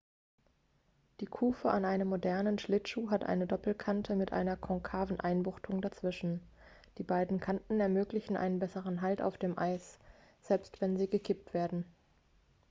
die kufe an einem modernen schlittschuh hat eine doppelkante mit einer konkaven einbuchtung dazwischen die beiden kanten ermöglichen einen besseren halt auf dem eis selbst wenn sie gekippt werden